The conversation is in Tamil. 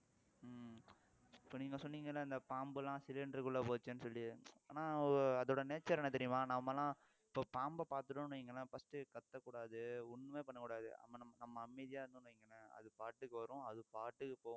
இப்ப நீங்க சொன்னீங்கல்ல இந்த பாம்பு எல்லாம் cylinder குள்ள போச்சேன்னு சொல்லி ஆனா அதோட nature என்ன தெரியுமா நாமெல்லாம் இப்ப பாம்பை பாத்துட்டோம்னு வைங்களேன் first கத்தக்கூடாது ஒண்ணுமே பண்ணக்கூடாது நம்ம அமைதியா இருந்தோம்னு வைங்களேன் அது பாட்டுக்கு வரும் அது பாட்டுக்கு போகும்